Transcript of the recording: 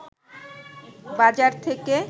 বাজার থেকে